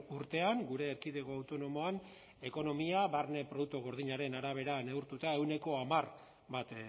urtean gure erkidego autonomoan ekonomia barne produktu gordinaren arabera neurtuta ehuneko hamar bat